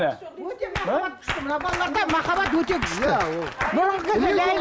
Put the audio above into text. өте махаббат күшті мына балаларда махаббат өте күшті